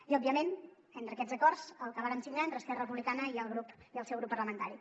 i òbviament entre aquests acords el que vàrem signar entre esquerra republicana i el seu grup parlamentari